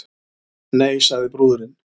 Nei, sagði brúðurin.